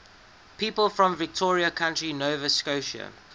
people from victoria county nova scotia